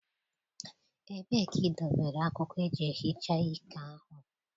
Ebee ka ị dobere akwụkwọ eji ehicha iké ahụ?